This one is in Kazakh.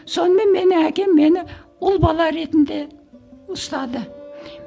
сонымен мені әкем мені ұл бала ретінде ұстады